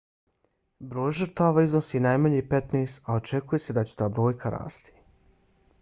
broj žrtava iznosi najmanje 15 a očekuje se da će ta brojka rasti